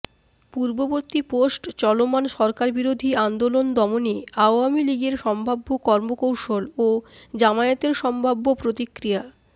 পূর্ববর্তী পোস্টচলমান সরকারবিরোধী আন্দোলন দমনে আওয়ামী লীগের সম্ভাব্য কর্মকৌশল ও জামায়াতের সম্ভাব্য প্রতিক্রিয়া